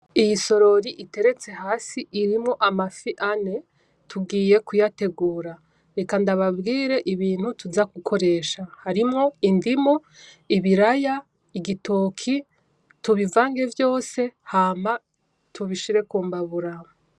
Iyisorori iteretse hasi irimwo amafi ane tugiye kuyategura .Reka ndababwira ibintu tuza gukoresha harimwo: indimu, ibiraya, igitoki tubivange vyose hama tubishire kumbabura.